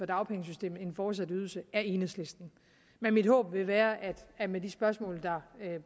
dagpengesystemet en fortsat ydelse er enhedslisten men mit håb vil være at med de spørgsmål der